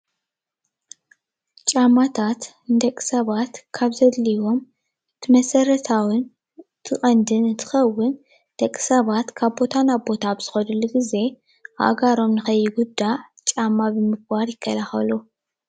ጫማታት ንደቂ ሰባት ካብ ዘድልዩዎም እቲ መሰረታዊን እቲ ቀንድን እንትከውን ደቂ ሰባት ካብ ቦታ ናብ ቦታ ብዝከድሉ ግዜ ኣእጋሮም ንከይጉዳእ ጫማ ብምግባር ይከላከሉ፡፡